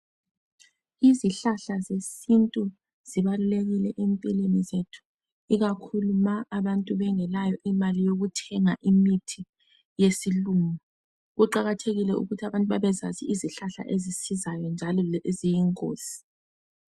Imithi yesintu ibalulekile empilweni zethu ikakhulu nxa abantu bengelayo imali yokuthenga imithi yesilungu kuqakathekile ukuthi abantu bebezazi izihlahla ezisizayo njalo leziyingozi